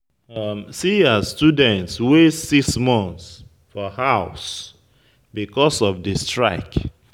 See as students waste six months for house because of di strike.